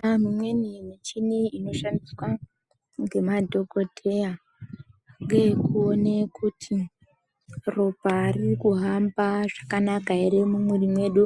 Pane imweni michini inoshandiswa nemadhokodheya ngeyekuone kuti ropa riri kuhamba zvakanaka ere mumwiri mwedu,